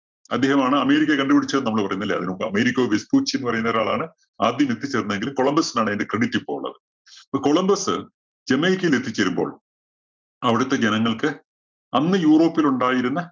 അദ്ദേഹമാണ് അമേരിക്ക കണ്ടുപിടിച്ചതെന്ന് നമ്മള്ള് പറയുന്നു. അല്ലേ? അതിനുമുമ്പ് അമേരിക്കോ വെസ്പൂച്ചി എന്ന് പറയുന്നൊരാളാണ് ആദ്യം എത്തിച്ചേര്‍ന്നതെങ്കിലും കൊളംബസിനാണ് അതിന്റെ credit ഇപ്പൊ ഒള്ളത്. കൊളംബസ് ജമൈക്കയില്‍ എത്തിചേരുമ്പോള്‍ അവിടത്തെ ജനങ്ങള്‍ക്ക്‌ അന്ന് യൂറോപ്പിലുണ്ടായിരുന്ന